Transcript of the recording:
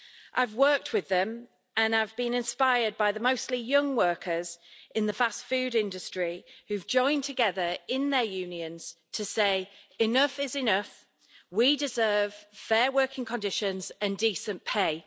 I've worked with them and I've been inspired by the mostly young workers in the fast food industry, who've joined together in their unions to say, Enough is enough, we deserve fair working conditions and decent pay'.